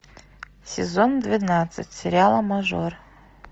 сезон двенадцать сериала мажор